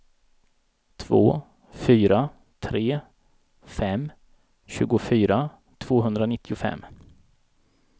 två fyra tre fem tjugofyra tvåhundranittiofem